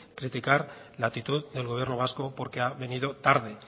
criticar la actitud del gobierno vasco porque ha venido tarde